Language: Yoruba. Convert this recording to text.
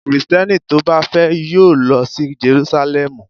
Kristẹni tó bá fẹ́ yóò lọ sí Jerúsálẹ́mù.